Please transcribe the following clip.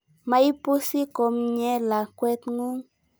Maipusi komnye lakwet ng'ung'.